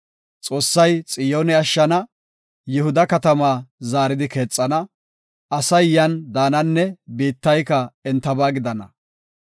Xoossay Xiyoone ashshana; Yihuda katamaa zaaridi keexana; asay yan daananne biittayka entaba gidana.